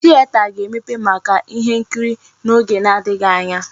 Tieta ga-emepe maka ihe nkiri n'oge na-adịghị anya.